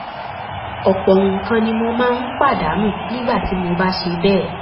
ọ̀pọ̀ nǹkan ni mo máa ń pàdánù nígbà tí mo bá ṣe bẹ́ẹ̀